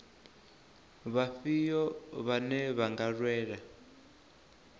vhafhio vhane vha nga lwela